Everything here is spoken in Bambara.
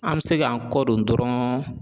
An bɛ se k'an kɔdon dɔrɔn